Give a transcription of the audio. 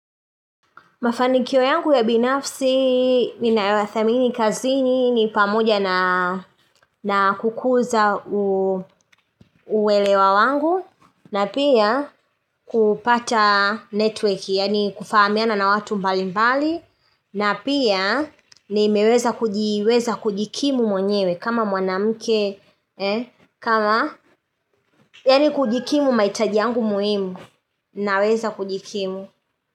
Mafanikio yangu ya binafsi, ninayothamini kazini, ni pamoja na kukuza uelewa wangu, na pia kupata network, yaani kufahamiana na watu mbali mbali, na pia nimeweza kujikimu mwenyewe, kama mwanamke, kama, yaani kujikimu mahitaji yangu muhimu, naweza kujikimu.